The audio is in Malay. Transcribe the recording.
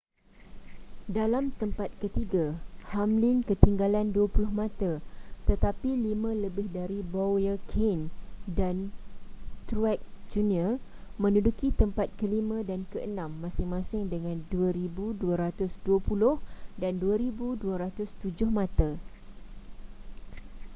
dalam tempat ketiga hamlin ketinggalan dua puluh mata tetapi lima lebih dari bowyer kahne dan truex jr menduduki tempat kelima dan keenam masing-masing dengan 2,220 dan 2,207 mata